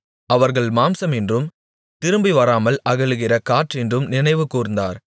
அவர்கள் மாம்சமென்றும் திரும்பிவராமல் அகலுகிற காற்றென்றும் நினைவுகூர்ந்தார்